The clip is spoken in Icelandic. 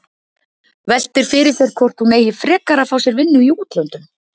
Veltir fyrir sér hvort hún eigi frekar að fá sér vinnu í útlöndum.